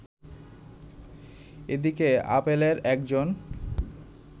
এদিকে অ্যাপলের একজন